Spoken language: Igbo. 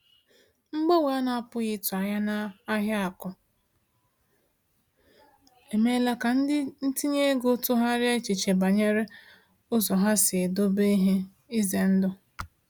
Mgbanwe a na-apụghị ịtụ anya n’ahịa akụ emeela ka ndị ntinye ego tụgharịa echiche banyere ụzọ ha si edobe ihe ize ndụ.